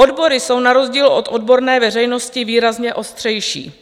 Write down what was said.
Odbory jsou na rozdíl od odborné veřejnosti výrazně ostřejší.